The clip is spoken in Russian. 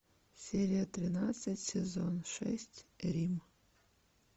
серия тринадцать сезон шесть рим